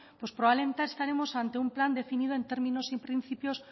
pues probablemente estaremos ante un plan definido en términos y en principios